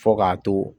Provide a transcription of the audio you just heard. Fo k'a to